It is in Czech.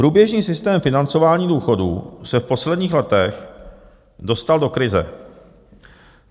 Průběžný systém financování důchodů se v posledních letech dostal do krize.